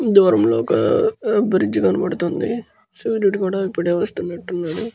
దూరం లో ఒక బ్రిడ్జ్ కనబడుతుంది. సూర్యుడు కూడా ఇప్పుడే వస్తునట్టు ఉన్నాడు.